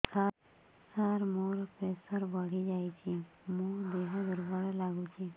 ସାର ମୋର ପ୍ରେସର ବଢ଼ିଯାଇଛି ମୋ ଦିହ ଦୁର୍ବଳ ଲାଗୁଚି